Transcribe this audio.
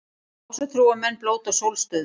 Ásatrúarmenn blóta sólstöður